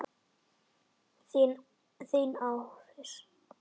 Þín Arís.